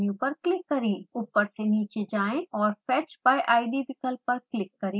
ऊपर से नीचे जाएँ और fetch by id विकल्प पर क्लिक करें